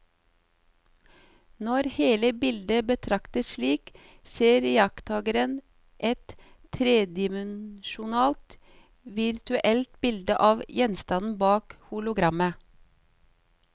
Når hele bildet betraktes slik, ser iakttakeren et tredimensjonalt virtuelt bilde av gjenstanden bak hologrammet.